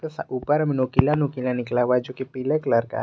ऊपर में नोकिला नोकिला निकला हुआ हैं जो कि पीले कलर का है।